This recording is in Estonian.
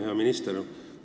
Hea minister!